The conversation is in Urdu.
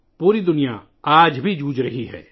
پوری دنیا آج بھی جدوجہد کر رہی ہے